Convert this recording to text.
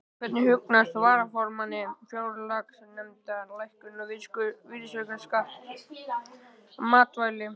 Hvernig hugnast varaformanni fjárlaganefndar lækkun virðisauka á matvæli?